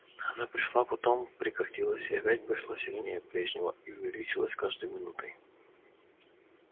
она пришла потом прекратилась и опять пришла сильнее прежнего и увеличивалась с каждой минутой